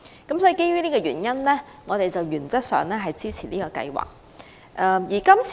基於這個原因，我們原則上支持是項計劃。